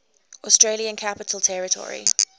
australian capital territory